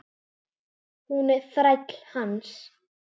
Hún er þræll hans.